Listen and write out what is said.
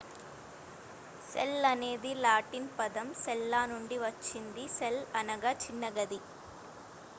cell అనేది Latin పదం సెల్లా నుండి వచ్చింది సెల్ అనగా చిన్న గది